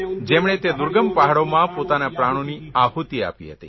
જેમણે તે દુર્ગમ પહાડોમાં પોતાના પ્રાણોની આહૂતી આપી હતી